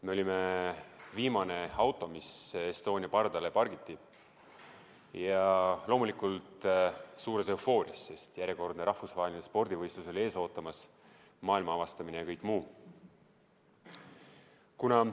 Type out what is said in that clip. Me olime viimane auto, mis Estonia pardale pargiti, ja loomulikult suures eufoorias, sest ees oli ootamas järjekordne rahvusvaheline spordivõistlus, maailma avastamine ja kõik muu.